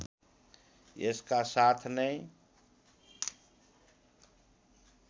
यसका साथ नैं